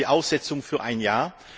Zum einen die Aussetzung für ein Jahr.